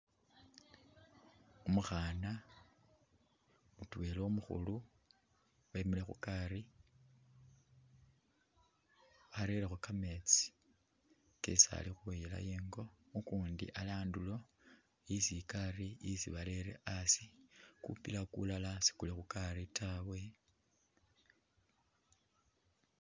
Umukhana mutwela umukhulu wemile khugari arerekho kametsi kesi alikhuyila ingo, ukundi ari andulo isi igari isi barere asi, kupila kulala sikuli khugari tawe